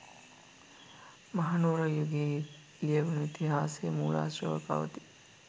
මහනුවර යුගයේ ලියැවුණු ඉතිහාස මූලාශ්‍රවල පවතී.